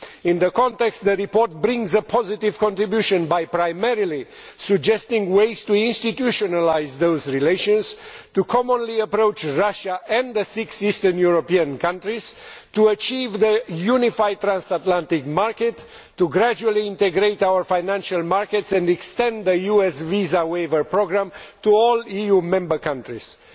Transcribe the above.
In context, the report makes a positive contribution by primarily suggesting ways to institutionalise those relations, to commonly approach Russia and the six eastern European countries, to achieve the unified transatlantic market, to gradually integrate our financial markets and to extend the US visa waiver programme to all EU Member States.